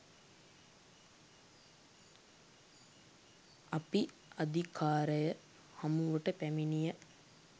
අපි අධිකාරය හමුවට පැමිණිය